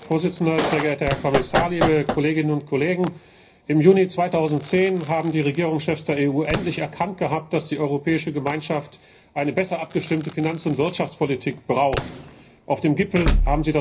Präsident, sehr geehrter Herr Kommissar, liebe Kolleginnen und Kollegen! Im Juni 2010 haben die Regierungschefs der EU endlich erkannt, dass die Europäische Gemeinschaft eine besser abgestimmte Finanz und Wirtschaftspolitik braucht. Auf dem Gipfel haben sie das Europäische Semester sozusagen erfunden.